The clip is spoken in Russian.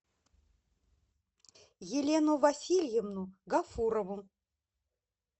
елену васильевну гафурову